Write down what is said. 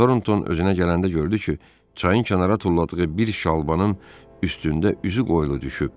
Toronton özünə gələndə gördü ki, çayın kənara tulladığı bir şalbanın üstündə üzü qoyulu düşüb.